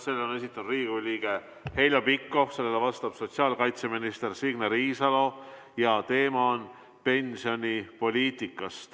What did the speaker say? Selle on esitanud Riigikogu liige Heljo Pikhof, sellele vastab sotsiaalkaitseminister Signe Riisalo ja teema on pensionipoliitika.